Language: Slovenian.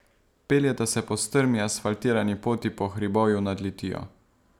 Peljeta se po strmi asfaltirani poti po hribovju nad Litijo.